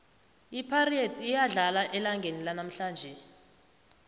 ipirates iyadlala elangeni lanamhlanje